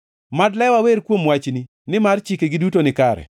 Mad lewa wer kuom wachni, nimar chikegi duto nikare.